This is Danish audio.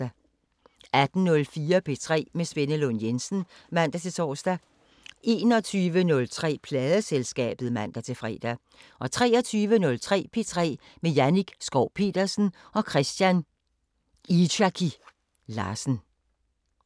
18:04: P3 med Svenne Lund Jensen (man-tor) 21:03: Pladeselskabet (man-fre) 23:03: P3 med Jannik Schow Petersen og Christian Itzchaky Larsen